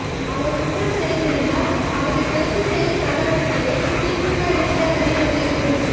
அவர் குற்றம் செய்திருந்தால் அவரை கைது செய்யும் நடவடிக்கையை திமுக இளைஞரணி வலியுறுத்தும்